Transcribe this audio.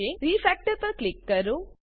refactor પર click કરો